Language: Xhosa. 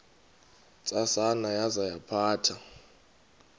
ntsasana yaza yaphatha